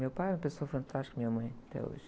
Meu pai era uma pessoa fantástica, minha mãe é até hoje.